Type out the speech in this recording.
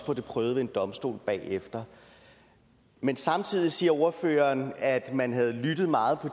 prøvet ved en domstol bagefter men samtidig siger ordføreren at man har lyttet meget